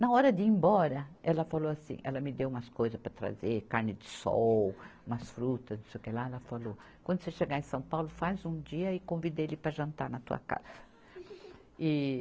Na hora de ir embora, ela falou assim, ela me deu umas coisas para trazer, carne de sol, umas frutas, não sei o quê lá, ela falou, quando você chegar em São Paulo, faz um dia e convida ele para jantar na tua casa. e